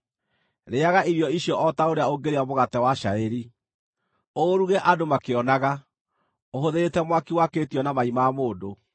Rĩĩaga irio icio o ta ũrĩa ũngĩrĩa mũgate wa cairi; ũũruge andũ makĩonaga, ũhũthĩrĩte mwaki wakĩtio na mai ma mũndũ.”